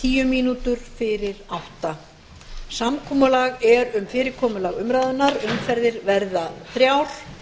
nítján fimmtíu samkomulag er um fyrirkomulag umræðunnar umferðir verða þrjár